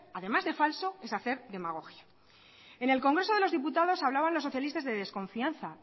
además de falso es hacer demagogia en el congreso de los diputados hablaban los socialistas de desconfianza